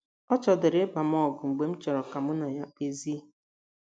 Ọ chọdịrị ịba m ọgụ mgbe m chọrọ ka mụ na ya kpezie.